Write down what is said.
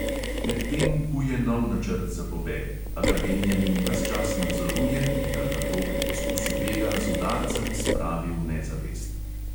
Medtem kuje nov načrt za pobeg, a ga benjamin ves čas nadzoruje in ga nato pri poskusu bega z udarcem spravi v nezavest.